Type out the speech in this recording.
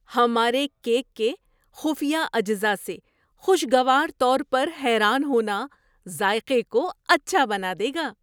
ہمارے کیک کے خفیہ اجزا سے خوشگوار طور پر حیران ہونا ذائقے کو اچھا بنا دے گا۔